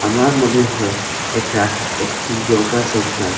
আমার মনে হয় এটা একটি ইয়োগা সেন্টার ।